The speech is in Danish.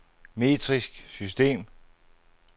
metrisk system